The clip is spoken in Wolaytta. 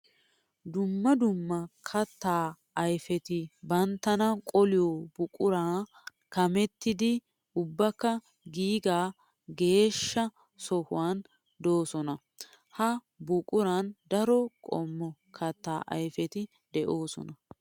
Dumma dumma katta ayfetti banttana qoliyo buquran kamettiddi ubbakka giiga geeshsha sohuwan de'osonna. Ha buquran daro qommo katta ayfetti de'osonna.